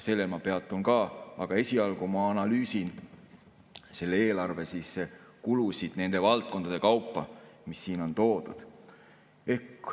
Sellel ma peatun ka, aga esialgu ma analüüsin selle eelarve kulusid nende valdkondade kaupa, mis siin on toodud.